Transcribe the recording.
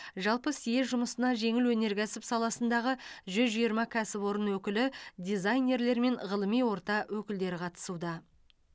жалпы съезд жұмысына жеңіл өнеркәсіп саласындағы жүз жиырма кәсіпорын өкілі дизайнерлер мен ғылыми орта өкілдері қатысуда